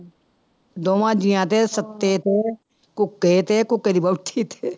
ਦੋਵਾਂ ਜੀਆਂ ਤੇ ਸੱਤੇ ਤੇ, ਕੁੱਕੇ ਤੇ, ਕੁੱਕੇ ਦੀ ਵਹੁਟੀ ਤੇ